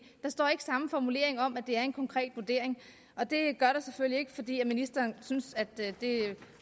der står ikke samme formulering om at det er en konkret vurdering og det gør der selvfølgelig ikke fordi ministeren synes det